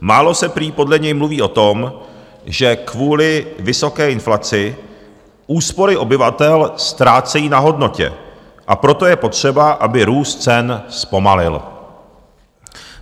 Málo se prý podle něj mluví o tom, že kvůli vysoké inflaci úspory obyvatel ztrácejí na hodnotě, a proto je potřeba, aby růst cen zpomalil.